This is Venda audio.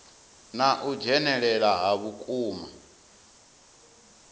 na u dzhenelela ha vhukuma